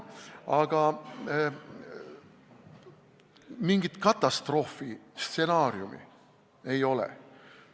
Aga mingit katastroofistsenaariumi ei ole.